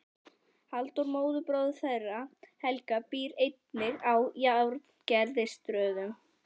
Halldór móðurbróðir þeirra Helga býr einnig að Járngerðarstöðum.